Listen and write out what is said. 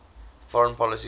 foreign policy goals